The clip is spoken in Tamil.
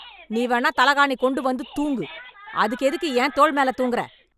நீ வேணா தலகாணி கொண்டு வந்து தூங்கு அதுக்கு எதுக்கு ஏன் தோல் மேல தூங்குற